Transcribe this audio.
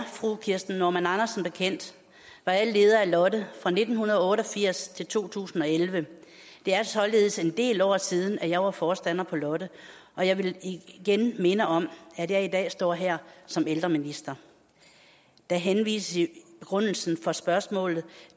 fru kirsten normann andersen bekendt var jeg leder af lotte fra nitten otte og firs til to tusind og elleve det er således en del år siden at jeg var forstander på lotte og jeg vil igen minde om at jeg i dag står her som ældreminister der henvises i begrundelsen for spørgsmålet